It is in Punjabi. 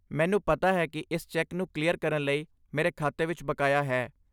ਮੈਨੂੰ ਪਤਾ ਹੈ ਕਿ ਇਸ ਚੈੱਕ ਨੂੰ ਕਲੀਅਰ ਕਰਨ ਲਈ ਮੇਰੇ ਖਾਤੇ ਵਿੱਚ ਬਕਾਇਆ ਹੈ।